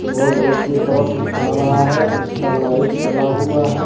और रोड के तरफ आ रहा है उसका लाइट जला हुआ है।